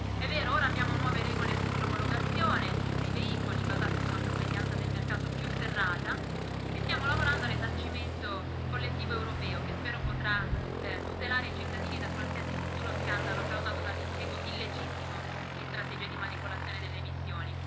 È vero ora abbiamo nuove regole sull'omologazione dei veicoli, basate su una sorveglianza del mercato più serrata, e stiamo lavorando al risarcimento collettivo europeo, che spero potrà tutelare i cittadini da qualsiasi futuro scandalo causato dall'impiego illegittimo di strategie di manipolazione delle emissioni.